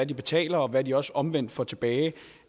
de betaler og hvad de også omvendt får tilbage